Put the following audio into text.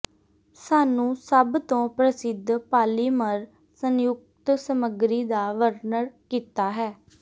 ਸਾਨੂੰ ਸਭ ਤੋ ਪ੍ਰਸਿੱਧ ਪਾਲੀਮਰ ਸੰਯੁਕਤ ਸਮੱਗਰੀ ਦਾ ਵਰਣਨ ਕੀਤਾ ਹੈ